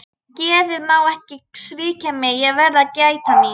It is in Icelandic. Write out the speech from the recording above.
Geðið má ekki svíkja mig, ég verð að gæta mín.